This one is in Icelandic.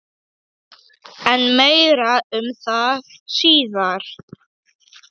En meira um það síðar.